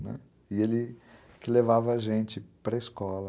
Né, e ele que levava a gente para a escola.